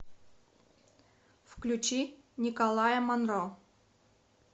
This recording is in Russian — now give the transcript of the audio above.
включи николая монро